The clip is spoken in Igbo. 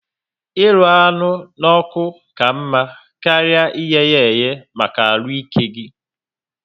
Ịrụ anụ n'oku ka mma karịa iyeya ehe maka arụ ike gi